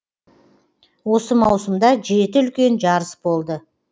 осы маусымда жеті үлкен жарыс болды